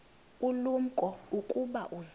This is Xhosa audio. ulumko ukuba uza